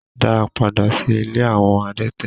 Da padà sí ilé awọn adẹ̀tẹ̀